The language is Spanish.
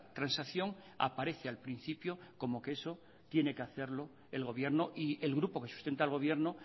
transacción aparece al principio como que eso tiene que hacerlo el gobierno y el grupo que sustenta al gobierno